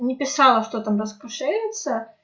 не писала что там раскошелится